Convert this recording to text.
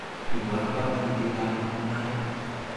Ibwat pongonutietab mungaret